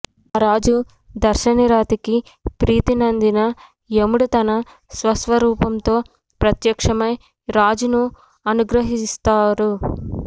ఆ రాజు దర్శనిరతికి ప్రీతి నందిన యముడు తన స్వస్వరూపంతో ప్రత్యక్షమై రాజును అనుగ్రహిస్గాడు